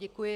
Děkuji.